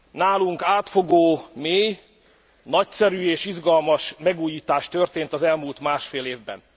Nálunk átfogó, mély, nagyszerű és izgalmas megújítás történt az elmúlt másfél évben.